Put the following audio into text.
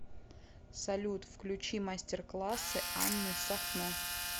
салют включи мастер классы анны сахно